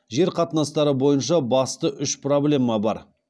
жер қатынастары бойынша басты үш проблема бар